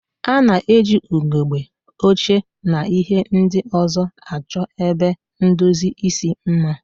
A na-eji ugegbe, oche, na ihe ndị ọzọ achọ ebe ndozi isi mma.